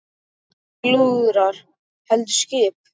Ekki lúðrar heldur skip.